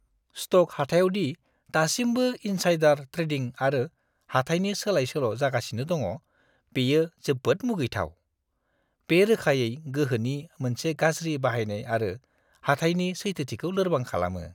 Stock हाथायाव दि दासिमबो इन्साइडार ट्रेडिं आरो हाथाइनि सोलाय-सोल' जागासिनो दङ, बियो जोबोद मुगैथाव। बे रोखायै गोहोनि मोनसे गाज्रि बाहायनाय आरो हाथाइनि सैथोथिखौ लोरबां खालामो!